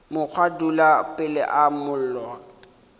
mokgwa dula pele ga mollo